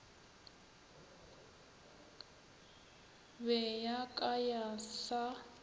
be ya ka ya sa